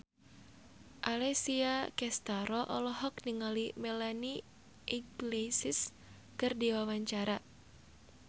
Alessia Cestaro olohok ningali Melanie Iglesias keur diwawancara